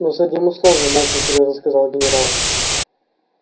но с одним условием очень серьёзно сказал генерал